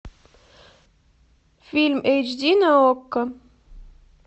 фильм эйч ди на окко